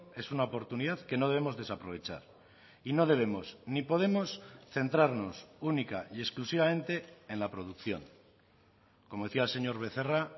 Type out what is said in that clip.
es una oportunidad que no debemos desaprovechar y no debemos ni podemos centrarnos única y exclusivamente en la producción como decía el señor becerra